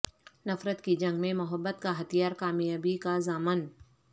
نفرت کی جنگ میں محبت کا ہتھیار کامیابی کا ضامن